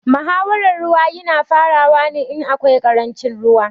Muhawaran ruwa ya na farawa ne in akwai ƙarancin ruwa